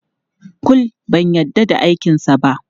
Kul, ban yarda da aikinsa ba.